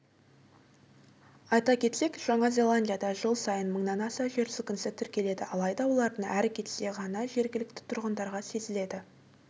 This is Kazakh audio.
айта кетсек жаңа зеландияда жыл сайын мыңнан аса жер сілкінісі тіркеледі алайда олардың әрі кетсе ғана жергілікті тұрғындарға сезіледі